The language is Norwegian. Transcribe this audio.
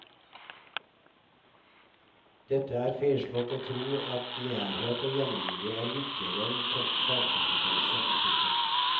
Det er feilslått å tro at nærhet og hjemmemiljø er viktigere en topp fagkompetanse. punktum